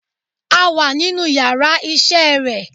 A wà nínú yàrá isé re